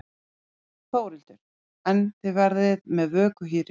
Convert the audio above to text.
Þórhildur: En þið verðið með vöku hérna í kvöld?